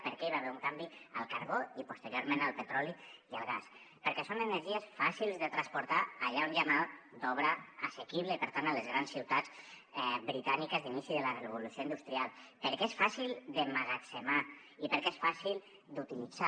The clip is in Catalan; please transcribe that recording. per què hi va haver un canvi al carbó i posteriorment al petroli i al gas perquè són energies fàcils de transportar allà on hi ha mà d’obra assequible i per tant a les grans ciutats britàniques d’inici de la revolució industrial perquè és fàcil d’emmagatzemar i perquè es fàcil d’utilitzar